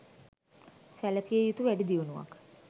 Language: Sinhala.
සැලකිය යුතු වැඩිදියුණුවක්